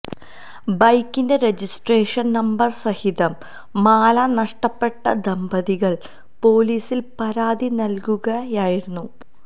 ബൈക്കിന്റെ registration number സഹിതം മാല നഷ്ടപ്പെട്ട ദമ്പതികൾ പോലീസിൽ പരാതി നൽകുകയായിരുന്നു